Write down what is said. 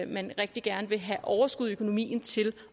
man rigtig gerne vil have overskud i økonomien til